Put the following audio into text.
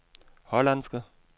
hollandske